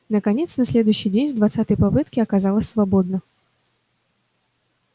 наконец на следующий день с двадцатой попытки оказалось свободно